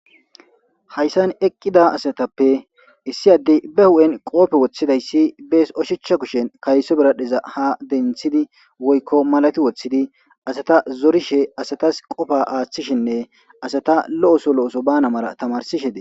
Hayssan eqqida asatappe issi addey ba hu'en qoope woththidayssi bees oshicha kushen kayso biradhiza ha denthidi woykko malati woththidi asata zorishe asatas qofa aaththishinne asata lo'oso lo'oso bana mara tamarsishe de.